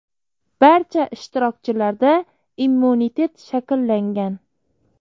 Barcha ishtirokchilarda immunitet shakllangan.